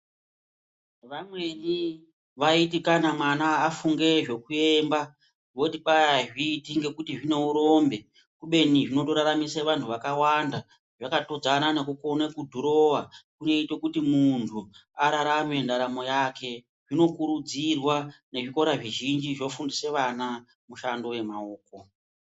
Vamweni vaiti kana mwana afunge zvekuemba voti kwayi azviiti ngekuti zvineurombe kubeni zvinotoraramise vantu vakawanda zvakatodzana nekukone kudhurowa kunoite kuti muntu ararame ndaramo yake zvinokurudzirwa nezvikora zvizhinji zvofubdise ana mushando yemaoko.